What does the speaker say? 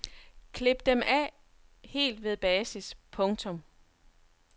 Klip dem af helt ved basis. punktum